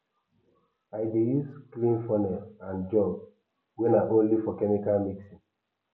i dey use clean funnel and jug wey na only for chemical mixing